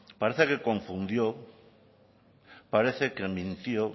parece que confundió parece que mintió